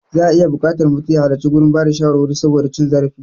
Za'a iya buƙatar mutum ya halarci gurin bada shawarwari saboda cin zarafi.